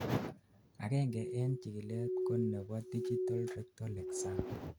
agengei en chikilet ko nebo digital rectal exam